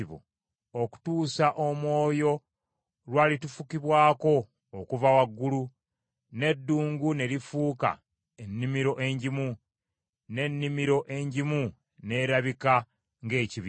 okutuusa Omwoyo lw’alitufukibwako okuva waggulu, n’eddungu ne lifuuka ennimiro engimu, n’ennimiro engimu n’erabika ng’ekibira.